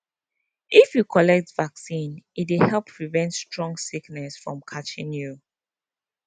if you collect vaccine e dey help prevent strong sickness from catching you